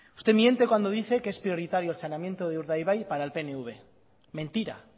usted miente cuando dice que es prioritario el saneamiento de urdaibai para el pnv mentira